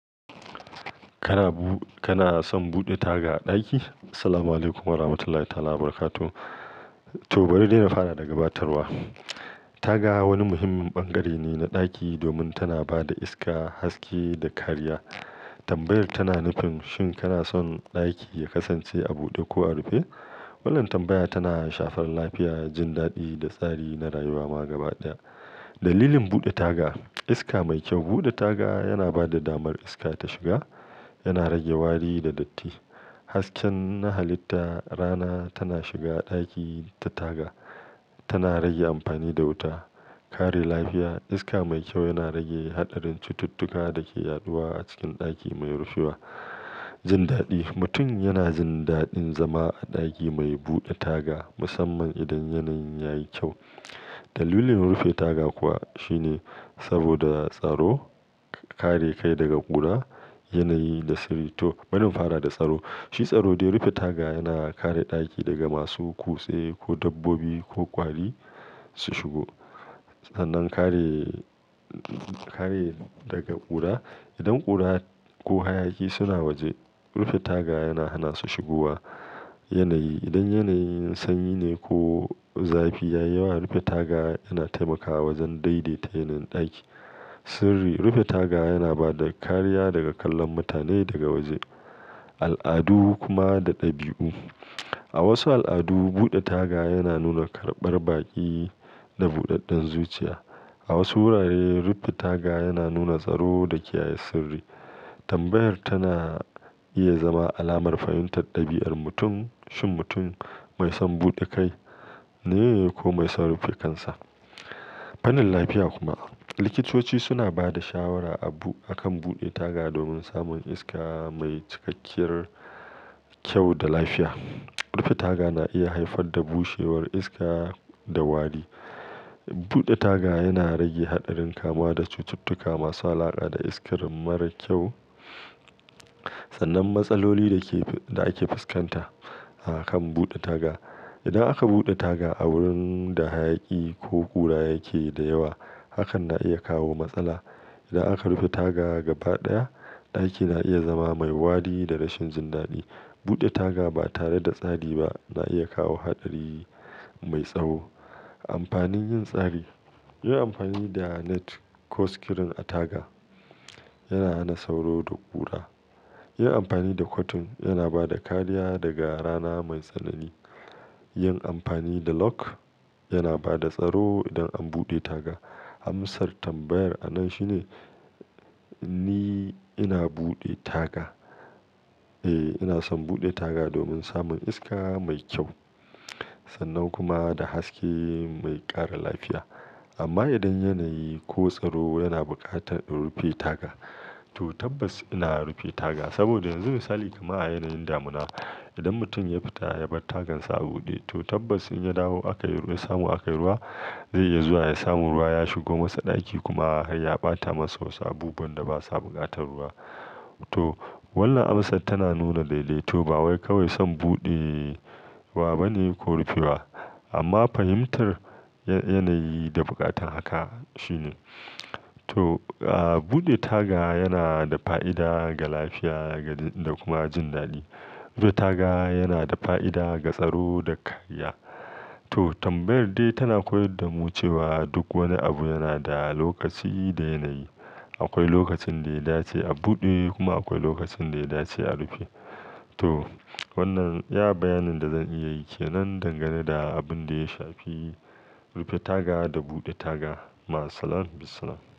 Kana bu-- kana son buɗe taga a ɗaki? Assalamualaikum Warahmatullahi Wabarakatuh. To, bari dai na fara daga batarwa. Taga wani muhimmin bangare ne na ɗaki domin tana ba da iska, haske da kariya. Tambayar tana nufin shin kana son ɗaki ya kasance a buɗe ko a rufe? Wannan tambaya tana shafar lafiya, jin daɗi da tsari na rayuwa ma gabaɗaya. Dalilin buɗe taga, iska mai kyau, buɗe taga yana ba da damar iska ta shiga, yana rage wari da datti. Hasken na halitta rana tana shiga ɗaki ta taga, tana rage amfani da wuta. Kare lafiya, iska mai kyau yana rage haɗarin cututtuka da ke yaɗuwa a cikin ɗaki mai rushewa. Jin daɗi, mutum yana jin daɗin zama a ɗaki mai buɗe taga musamman idan yanayin yayi kyau. Dalilin rufe taga kuwa shine saboda tsaro, kare kai daga ƙura, yanayi da sirri. To, bari in fara da tsaro. Shi tsaro dai rufe taga yana kare ɗaki daga masu kutse ko dabbobi ko ƙwari su shigo. Sannan kare, kare daga ƙura. Idan ƙura ko hayaki suna waje, rufe taga yana hana su shigowa. Yanayi, idan yanayin sanyi ne ko zafi ya yawa, rufe taga yana taimakawa wajen daidaita yanayin ɗaki. Sirri, rufe taga yana ba da kariya daga kallon mutane daga waje. Al'adu kuma da ɗabi'u, a wasu al'adu buɗe taga yana nuna karɓar baƙi da buɗaɗɗen zuciya. A wasu wurare rufe taga yana nuna tsaro da kiyaye sirri. Tambayar tana iya zama alamar fahimtar ɗabi'ar mutum, shin mutum mai son buɗe kai ne ko mai son rufe kansa. Fannin lafiya kuma, likitoci suna ba da shawara abu-- akan buɗe taga domin samun iska mai cikakkiyar kyau da lafiya. Rufe taga na iya haifar da bushewar iska da wari. Buɗe taga yana rage haɗarin kama da cututtuka masu alaƙa da iskar mara kyau. Sannan matsaloli da ke-- da ake fuskanta a kan buɗe taga. Idan aka buɗe taga a wurin da hayaki ko ƙura yake da yawa, hakan na iya kawo matsala. Idan aka rufe taga gabaɗaya, ɗaki na iya zama mai wari da rashin jin daɗi. Buɗe taga ba tare da tsari ba na iya kawo haɗari mai tsawo. Amfanin yin tsari, yin amfani da net ko screen a taga yana hana sauro da ƙura. Yin amfani da cotton yana ba da kariya daga rana mai tsanani. Yin amfani da lock yana ba da tsaro idan an buɗe taga. Amasar tambayar a nan shine ni ina buɗe taga, eh ina son buɗe taga domin samun iska mai kyau sannan kuma da haske mai ƙara lafiya. Amma idan yanayi ko tsaro yana buƙatar rufe taga to tabbas ina rufe taga. Saboda yanzu misali, kama a yanayin damuna, idan mutum ya fita ya bar tagan sa a buɗe to tabbas in ya dawo aka yi-- ya samu aka yi ruwa, zai iya zuwa ya samu ruwa ya shigo masa ɗaki kuma har ya ɓata masa wasu abubuwan da basa buƙatar ruwa. To, wannan amsar tana nuna daidaito. Ba wai kawai son buɗe wa bane ko rufewa amma fahimtar ya-yanayi da buƙatar haka shine. To, ah buɗe taga yana da fa'ida ga lafiya da kuma jin daɗi. Rufe taga yana da fa'ida ga tsaro da kariya. To, tambayar dai tana koyar da mu cewa duk wani abu yana da lokaci da yanayi. Akwai lokacin da ya dace a buɗe kuma akwai lokacin da ya dace a rufe. To, wannan ya bayanin da zan iya yi ke nan dangane da abin da ya shafi rufe taga da buɗe taga. Ma salama, bisalam.